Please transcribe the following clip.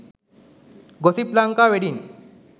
gossip lanka wedding